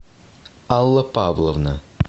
алла павловна